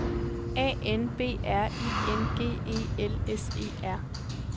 A N B R I N G E L S E R